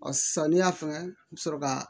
Ɔ samiya fɛ i bɛ sɔrɔ ka